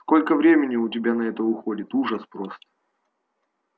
сколько времени у тебя на это уходит ужас просто